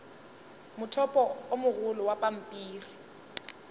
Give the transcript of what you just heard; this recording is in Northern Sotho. mothopo o mogolo wa pampiri